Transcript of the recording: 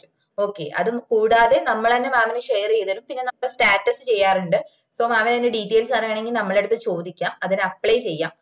okay അതും കൂടാതെ നമ്മളന്നേ mam ന് share ചെയ്തേരും പിന്ന നമ്മള status ചെയ്യാറുണ്ട്‌ so mam ന് അതിന്റെ details അറിയാണെങ്കിൽ നമ്മളെ അടുത്ത് ചോദിക്കാ അതിന് apply ചെയ്യാം